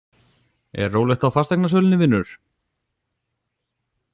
Er rólegt á fasteignasölunni, vinur?